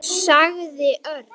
sagði Örn.